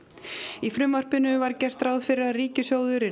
í frumvarpinu var gert ráð fyrir að ríkissjóður yrði